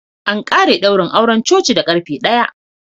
An ƙare daurin auren coci da ƙarfe ɗaya.